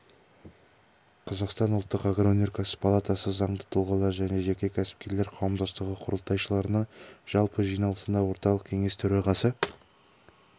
қазақстан ұлттық агроөнеркәсіп палатасы заңды тұлғалар және жеке кәсіпкерлер қауымдастығы құрылтайшыларының жалпы жиналысында орталық кеңес төрағасы